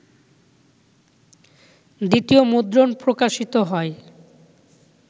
দ্বিতীয় মুদ্রণ প্রকাশিত হয়